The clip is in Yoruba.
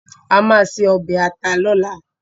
A máa se ọbẹ̀ ata lọ́la